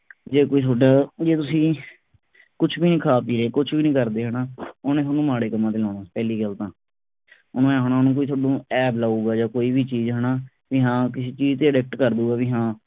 ਜੇ ਕੋਈ ਤੁਹਾਡਾ ਜੇ ਤੁਸੀਂ ਕੁਛ ਵੀ ਨਹੀ ਖਾ ਪੀ ਰਹੇ ਕੁਛ ਵੀ ਨਹੀਂ ਕਰਦੇ ਹਣਾ ਉਹ ਨੇ ਤੁਹਾਨੂੰ ਮਾੜੇ ਕੰਮਾਂ ਤੇ ਲਾਉਣਾ ਪਹਿਲੀ ਗੱਲ ਤਾਂ ਉਹਨੇ ਨੂੰ ਐਬ ਲਾਊਗਾ ਜਾਂ ਕੋਈ ਵੀ ਚੀਜ ਹਣਾ ਬਈ ਹਾਂ ਕਿਸੇ ਚੀਜ ਤੇ addict ਕਰਦੂਗਾ ਬਈ ਹਾ